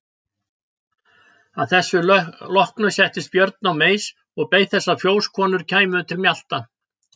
Að þessu loknu settist Björn á meis og beið þess að fjósakonur kæmu til mjalta.